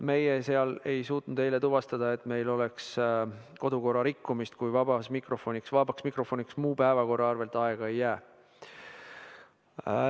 Meie ei suutnud eile tuvastada, et meil oleks kodukorra rikkumist, kui vabaks mikrofoniks muu päevakorra arvelt aega ei jää.